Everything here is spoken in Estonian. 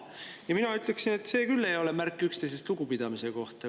Ja mina ütleksin, et see küll ei ole märk üksteisest lugupidamisest.